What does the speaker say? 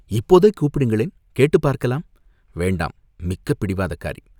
"இப்போதே கூப்பிடுங்களேன், கேட்டுப் பார்க்கலாம்" "வேண்டாம், மிக்க பிடிவாதக்காரி.